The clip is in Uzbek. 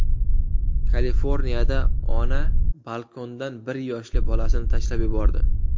Kaliforniyada ona balkondan bir yoshli bolasini tashlab yubordi.